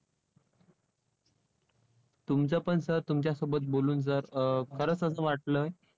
तुमचं पण sir तुमच्यासोबत बोलून sir अं खरंच असं वाटलंय.